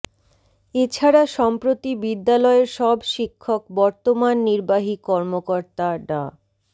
এ ছাড়া সম্প্রতি বিদ্যালয়ের সব শিক্ষক বর্তমান নির্বাহী কর্মকর্তা ডা